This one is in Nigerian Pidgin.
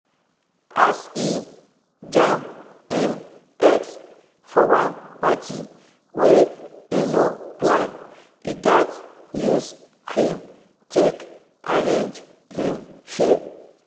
as he jam him ex for one party wey he no plan he gatz use cream take arrange him hair.